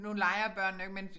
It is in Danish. Nu leger børnene jo ikke men